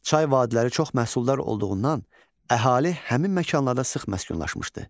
Çay vadiləri çox məhsuldar olduğundan əhali həmin məkanlarda sıx məskunlaşmışdı.